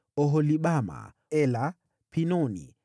Oholibama, Ela, Pinoni,